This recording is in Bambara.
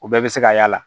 U bɛɛ bɛ se ka y'a la